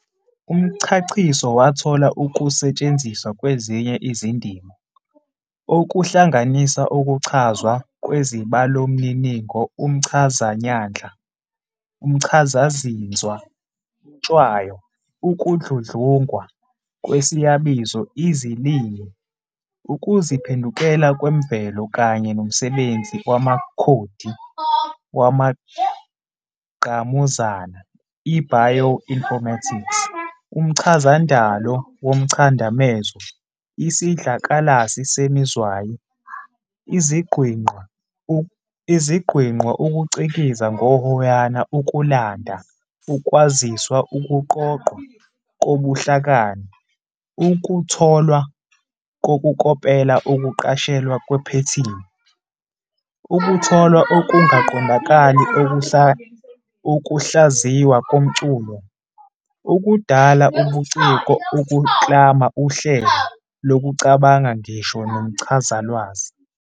Umchachiso wathola ukusetshenziswa kwezinye izindima, okuhlanganisa ukuchazwa kwezibalomininingo, umchazanyandla, umchazazinzwa, intshwayo, ukudludlungwa kwesiyabizo, izilimi, ukuziphendukela kwemvelo kanye nomsebenzi wamakhodi wamangqamuzana, i-bioinformatics, umchazandalo womchadamezo, isidlakalsi semizwayi, iziGwinqa, ukucikiza ngohoyana, ukulanda ukwaziswa, ukuqoqwa kobuhlakani, ukutholwa kokukopela, ukuqashelwa kwephethini, ukutholwa okungaqondakali, ukuhlaziywa komculo, ukudala ubuciko, ukuklama uhlelo lokucabanga, ngisho ne nomchazalwazi.